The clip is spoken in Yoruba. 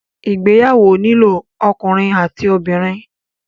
Ìgbéyàwó nílò ọkùnrin àti obìnrin.